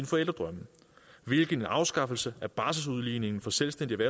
forældredrømme hvilket en afskaffelse af barselsudligningen for selvstændigt